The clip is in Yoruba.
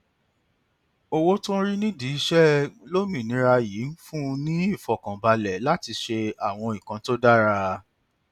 owó tí ó ń rí nídìí iṣẹ lómìnira yìí fún un ní ìfọkànbalẹ láti ṣe àwọn nǹkan tó dára